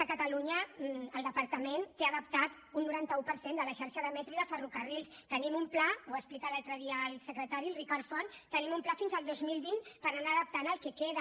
a catalunya el departament té adaptat un noranta un per cent de la xarxa de metro i de ferrocarrils tenim un pla ho va explicar l’altre dia el secretari el ricard font fins al dos mil vint per anar adaptant el que queda